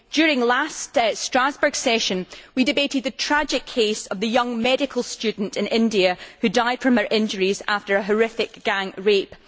During the last Strasbourg session we debated the tragic case of the young medical student in India who died from her injuries after a horrific gang rape.